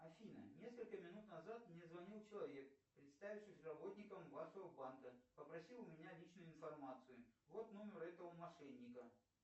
афина несколько минут назад мне звонил человек представившись работником вашего банка попросил у меня личную информацию вот номер этого мошенника